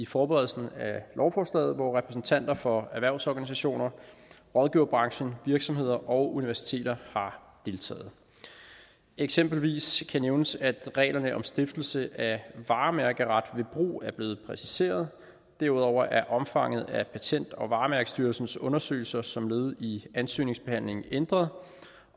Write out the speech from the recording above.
forberedelsen af lovforslaget hvor repræsentanter for erhvervsorganisationer rådgiverbranchen virksomheder og universiteter har deltaget eksempelvis kan nævnes at reglerne om stiftelse af varemærkeretlig brug er blevet præciseret derudover er omfanget af patent og varemærkestyrelsens undersøgelser som led i ansøgningsbehandlingen ændret